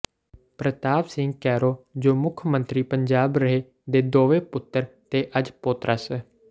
ਪ੍ਰਤਾਪ ਸਿੰਘ ਕੈਰੋਂ ਜੋ ਮੁੱਖ ਮੰਤਰੀ ਪੰਜਾਬ ਰਹੇ ਦੇ ਦੋਵੇਂ ਪੁੱਤਰ ਤੇ ਅੱਜ ਪੋਤਰਾ ਸ